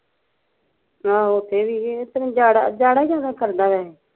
ਅਹਪ ਓਥੇ ਵੀ ਇਹ ਓਥੇ ਓਥੇ ਉਜਾੜਾਂ ਈ ਬਹੁਤ ਕਰਦਾ ਏਹ